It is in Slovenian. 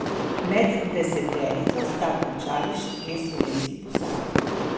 Med deseterico sta končali še dve slovenski posadki.